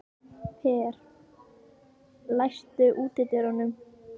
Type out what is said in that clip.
Per, læstu útidyrunum.